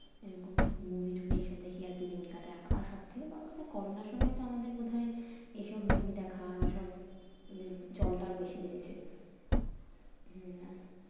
এরকম movie TV এইসব দেখেই আরকি দিন কাটে আমার। আর সব থেকে বড় কথা করোনার সময়তো আমাদের বোধহয় এইসব movie দেখা সব উম চলটাও বেশি বেড়েছে। হুম